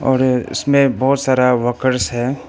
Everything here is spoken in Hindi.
इसमें बहुत सारा वर्कर्स है।